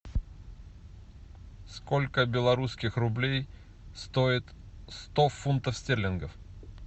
сколько белорусских рублей стоит сто фунтов стерлингов